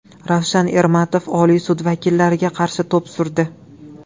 Ravshan Ermatov Oliy sud vakillariga qarshi to‘p surdi .